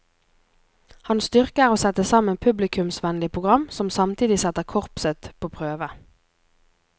Hans styrke er å sette sammen publikumsvennelig program som samtidig setter korpset på prøve.